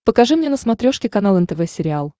покажи мне на смотрешке канал нтв сериал